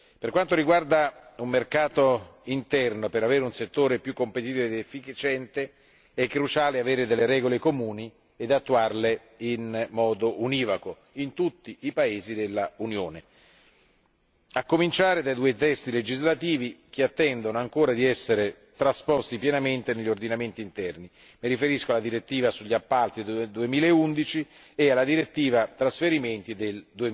Per quanto riguarda il mercato interno, perché esso sia più competitivo ed efficiente, è cruciale dotarsi di regole comuni e attuarle in modo univoco in tutti i paesi dell'Unione, a cominciare dai due testi legislativi che attendono ancora di essere trasposti pienamente negli ordinamenti interni mi riferisco alla direttiva sugli appalti del 2011 e alla direttiva Trasferimenti del